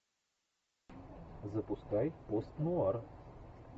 запускай постнуар